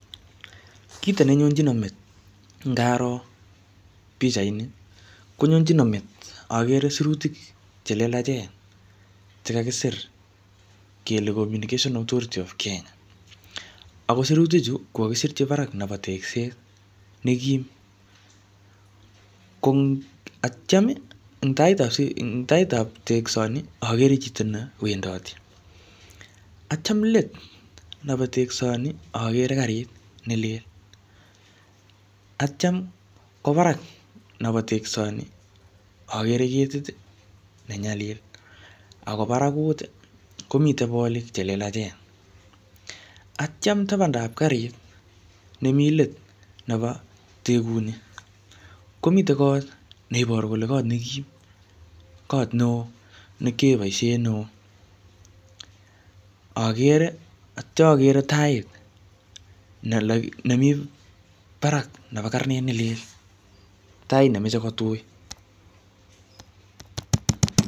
Kito nenyonchino met ngaro pichait ni, konyonchino met agere sirutik che lelachen che kakisir kele Communications Authority of Kenya. Ako sirutik chu, ko kakisirchi barak nebo tegset ne kiim. Ko atyam, eng tait ap, eng tait ap tegsot ni, agere chito newendati. Atyam let nebo tegsoni, akere garit ne lel. Atyam ko barak nebo tegsoni, akere ketit ne nyalil, ako barakut komite bolik che lelachen. Atyam tabndab garit nemii let nebo tegut ni, komitei kot ne iboru kole kot ne kiim, kot neo ne kiyae boisiet ne oo. Agere atya agere tait, ne um mii barak nebo karnet ne lel. Tait nemeche ko tui